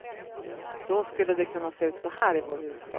Då skulle det kunna se ut så här i vår huvudstad.